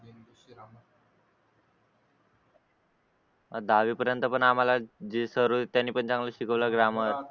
दहावीपर्यंत पण आम्हाला जे सर्व होते त्यांनी पण चांगलंच शिकवलं ग्रामर